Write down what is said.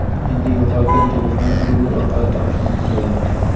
Endi yo‘qolgan telefonni Google orqali topish mumkin bo‘ldi.